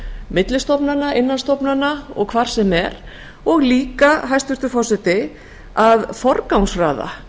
milli stofnana innan stofnana og hvar sem er og líka hæstvirtur forseti að forgangsraða